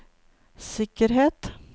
sikkerhet